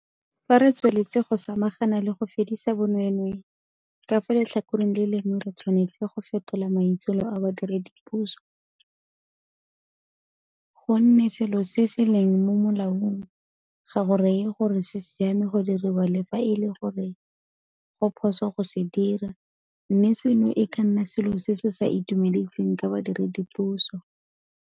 Fa re tsweletse go samagana le go fedisa bonweenwee, ka fa letlhakoreng le lengwe re tshwanetse go fetola maitsholo a badiredipuso, gonne selo se se leng mo molaong ga go raye gore se siame go diriwa le fa e le gore go phoso go se dira mme seno e ka nna selo se se sa itumediseng ka badiredipuso.